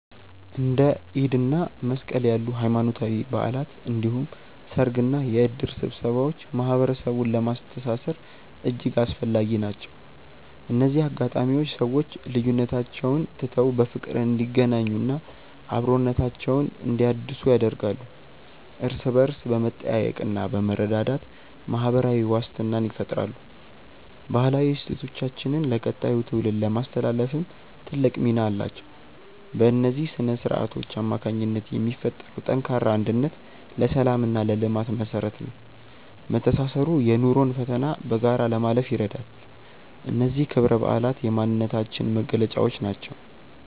እንደ ኢድ እና መስቀል ያሉ ሃይማኖታዊ በዓላት እንዲሁም ሰርግና የእድር ስብሰባዎች ማህበረሰቡን ለማስተሳሰር እጅግ አስፈላጊ ናቸው። እነዚህ አጋጣሚዎች ሰዎች ልዩነቶቻቸውን ትተው በፍቅር እንዲገናኙና አብሮነታቸውን እንዲያድሱ ያደርጋሉ። እርስ በእርስ በመጠያየቅና በመረዳዳት ማህበራዊ ዋስትናን ይፈጥራሉ። ባህላዊ እሴቶቻችንን ለቀጣዩ ትውልድ ለማስተላለፍም ትልቅ ሚና አላቸው። በእነዚህ ስነ-ስርዓቶች አማካኝነት የሚፈጠረው ጠንካራ አንድነት ለሰላምና ለልማት መሰረት ነው። መተሳሰሩ የኑሮን ፈተና በጋራ ለማለፍ ይረዳል። እነዚህ ክብረ በዓላት የማንነታችን መገለጫዎች ናቸው።